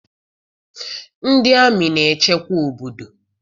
NdỊ amị na-echekwa obodo